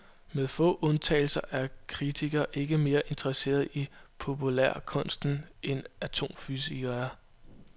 Med få undtagelser er kritikere ikke mere interesserede i populærkunsten, end atomfysikere er.